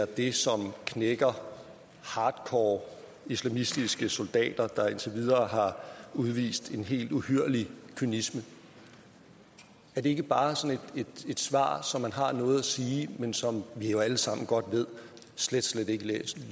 det som knækker hardcore islamistiske soldater der indtil videre har udvist en helt uhyrlig kynisme er det ikke bare sådan et svar så man har noget at sige men som vi jo alle sammen godt ved slet slet ikke